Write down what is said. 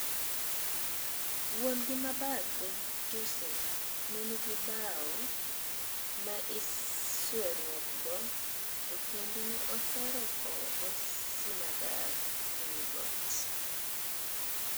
Wuon gi mabathe Josef ne nigi bao me isweruok go to kendo ne ohero kowo go Simadar ewii got.